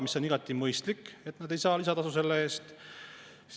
See on igati mõistlik, et nad ei saa selle eest lisatasu.